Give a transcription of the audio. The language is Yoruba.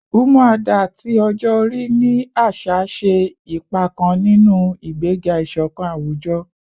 “Umuada” ti ọjọ-ori ni aṣa ṣe ipa kan ninu igbega iṣọkan awujọ